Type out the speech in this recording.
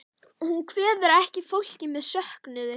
Hún kveður ekki fólkið með söknuði.